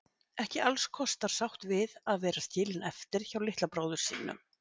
Ekki allskostar sátt við að vera skilin eftir hjá litla bróður sínum.